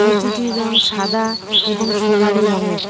মূর্তিটির রং সাদা এবং সোনালি রঙের।